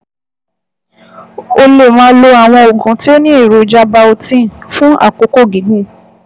O lè máa lo àwọn oògùn tó ní èròjà biotin fún àkókò gígùn